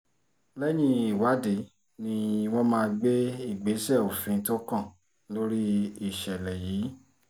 lẹ́yìn ìwádìí ni wọ́n máa gbé ìgbésẹ̀ òfin tó kàn lórí ìṣẹ̀lẹ̀ yìí